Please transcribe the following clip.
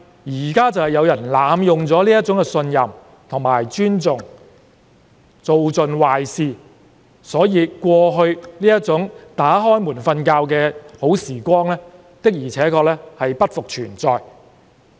不過，正正有人濫用這種信任和尊重做盡壞事，所以過去夜不閉戶的美好時光確實已不復存在。